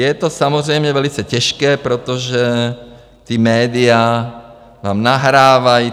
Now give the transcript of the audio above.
Je to samozřejmě velice těžké, protože ta média vám nahrávají.